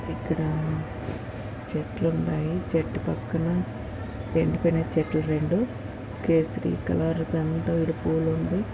ఇక్కడ చెట్లు ఉన్నాయి చెట్టు పక్కన ఎండిపోయిన చెట్లు రెండు కేసరీ కలర్ విడి పువ్వులు--